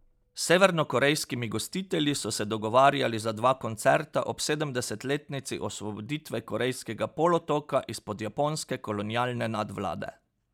S severnokorejskimi gostitelji so se dogovarjali za dva koncerta ob sedemdesetletnici osvoboditve korejskega polotoka izpod japonske kolonialne nadvlade.